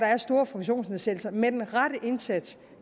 har store funktionsnedsættelser med den rette indsats